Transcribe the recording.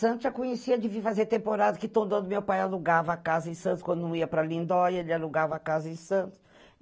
Santos já conhecia, de vir fazer temporada que todo ano meu pai alugava a casa em Santos, quando eu ia para Lindóia, ele alugava a casa em Santos.